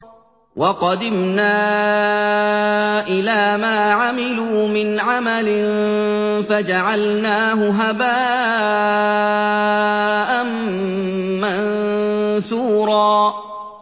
وَقَدِمْنَا إِلَىٰ مَا عَمِلُوا مِنْ عَمَلٍ فَجَعَلْنَاهُ هَبَاءً مَّنثُورًا